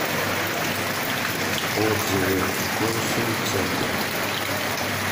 отзывы консум центр